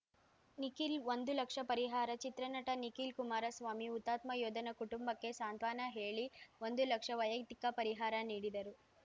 ನಿಖಿಲ್‌ ಒಂದು ಲಕ್ಷ ಪರಿಹಾರ ಚಿತ್ರನಟ ನಿಖಿಲ್‌ ಕುಮಾರಸ್ವಾಮಿ ಹುತಾತ್ಮ ಯೋಧನ ಕುಟುಂಬಕ್ಕೆ ಸಾಂತ್ವನ ಹೇಳಿ ಒಂದು ಲಕ್ಷ ವೈಯಕ್ತಿಕ ಪರಿಹಾರ ನೀಡಿದರು